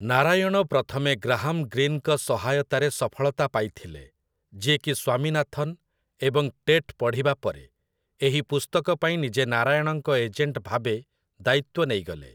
ନାରାୟଣ ପ୍ରଥମେ ଗ୍ରାହାମ୍ ଗ୍ରୀନ୍‌ଙ୍କ ସହାୟତାରେ ସଫଳତା ପାଇଥିଲେ, ଯିଏକି ସ୍ୱାମୀନାଥନ୍ ଏବଂ ଟେଟ୍ ପଢ଼ିବା ପରେ ଏହି ପୁସ୍ତକ ପାଇଁ ନିଜେ ନାରାୟଣଙ୍କ ଏଜେଣ୍ଟ ଭାବେ ଦାୟିତ୍ୱ ନେଇଗଲେ ।